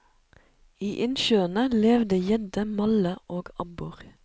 I innsjøene levde gjedde, malle og abbor.